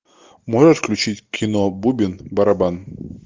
можешь включить кино бубен барабан